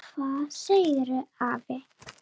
Hvað segirðu afi?